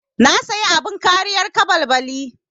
Na saya abin kariyar caɓalɓali.